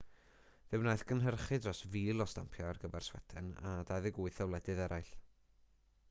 fe wnaeth gynhyrchu dros 1,000 o stampiau ar gyfer sweden a 28 o wledydd eraill